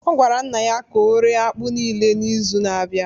ọ gwara nna ya ka ọ ree akpu niile n’izu na-abịa